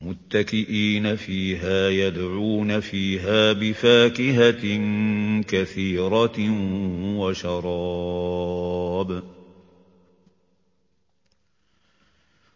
مُتَّكِئِينَ فِيهَا يَدْعُونَ فِيهَا بِفَاكِهَةٍ كَثِيرَةٍ وَشَرَابٍ